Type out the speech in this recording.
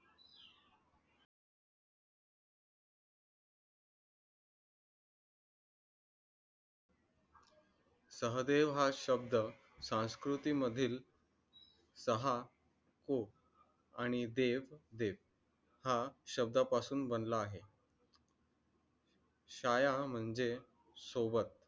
सहदेव हा शब्द संस्कृती मधील सहा को आणि देव देव हा शब्दा पासून बनला आहे. छाया म्हणजे सोबत